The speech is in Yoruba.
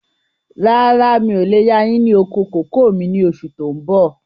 Rárá, mi ò lè yà yín ní oko kòkó mi ni oṣù tó ń bọ̀.